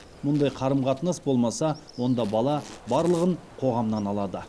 мұндай қарым қатынас болмаса онда бала барлығын қоғамнан алады